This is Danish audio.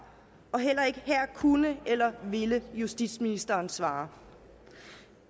og heller ikke her kunne eller ville justitsministeren svare